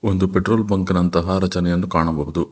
ಒಂದು petrol bunk ಇನಂತಹ ರಚನೆಯನ್ನು ಕಾಣಬಹುದು.